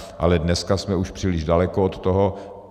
Ale dneska jsme už příliš daleko od toho.